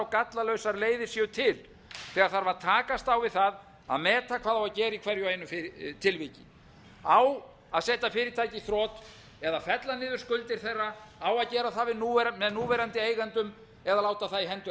gallalausar leiðir séu til þegar þarf að takast á við það að meta hvað á að gera í hverju og einu tilviki á að setja fyrirtæki í þrot eða fella niður skuldir þeirra á að gera það með núverandi eigendum eða láta það í hendur